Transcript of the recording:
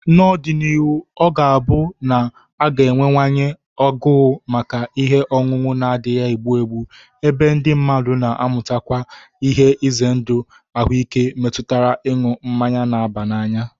N'ọdịnihu, ọ ga-abụ na a ga-enwewanye agụụ maka ihe ọṅụṅụ na-adịghị egbu egbu, ebe ndị mmadụ na-amatakwu ihe ize ndụ ahụike metụtara ịṅụ mmanya na-aba n'anya